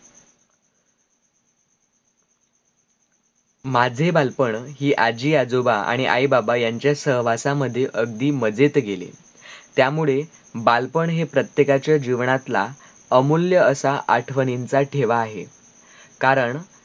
माझे बालपण हि आजी आजोबा आणी आई बाबा यांच्या सहवासा मध्ये अगदी मजेत गेले त्या मुळे बालपण हा प्रत्येकाच्या जीवनातला अमूल्य असा आठवणींच्या ठेवा आहे कारण